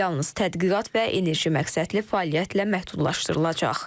Yalnız tədqiqat və enerji məqsədli fəaliyyətlə məhdudlaşdırılacaq.